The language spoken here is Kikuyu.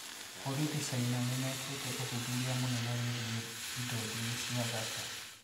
Borithi caina nĩmekĩte ũthuthuria mũnene wigiĩ indo njũru cia thaka